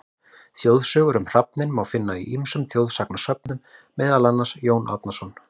Þjóðsögur um hrafninn má finna í ýmsum þjóðsagnasöfnum, meðal annars: Jón Árnason.